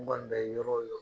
U b'a dan yen yɔrɔ yɔr